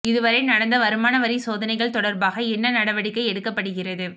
இதுவரை நடந்த வருமான வரி சோதனைகள் தொடர்பாக என்ன நடவடிக்கை எடுக்கப்படுகிறது